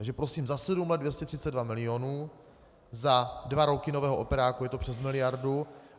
Takže, prosím, za sedm let 232 milionů, za dva roky nového operáku je to přes miliardu.